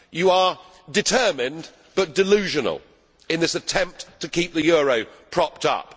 You are determined but delusional in this attempt to keep the euro propped up.